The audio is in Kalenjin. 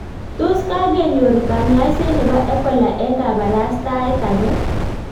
Tos kagenyor kanyaiset nebo Ebola eng kabarastaet age